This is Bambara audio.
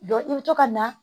i bɛ to ka na